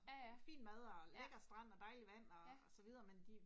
Ja ja, ja, ja